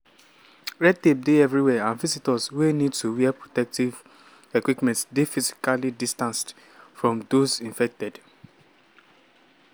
red tape dey everywhere and visitors wey need wear protective equipment dey physically distanced from those infected.